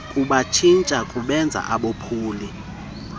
kubatshintsha kubenze abophuli